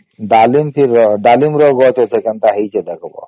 ଡ଼ାଲିମ ଥିରା ଡ଼ାଲିମ ର ଗଛ କେନ୍ତା ହେଇଚି ଦେଖିବା